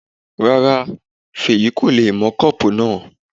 Rárá, Fèyí kò le mọ kọ́pù náà